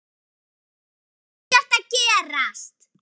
Það þarf ekkert að gerast.